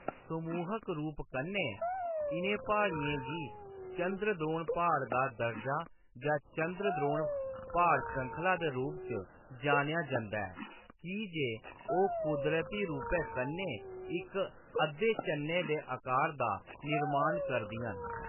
समूह्‌‌क रूप कन्नै, इʼनें प्हाड़ियें गी चंद्रद्रोण प्हाड़ दा दर्जा जां चंद्रद्रोण प्हाड़ श्रृंखला दे रूप च जानेआ जंदा ऐ की जे ओह्‌‌ कुदरती रूपै कन्नै इक अद्धे चन्नै दे आकार दा निर्माण करदियां न।